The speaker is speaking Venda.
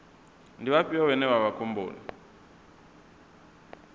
ndi vhafhio vhane vha vha khomboni